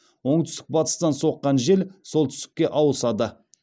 оңтүстік батыстан соққан жел солтүстікке ауысады